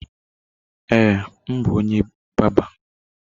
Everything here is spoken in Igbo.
Ee, m bụ onye bárbà.